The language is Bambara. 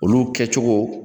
Olu kɛcogo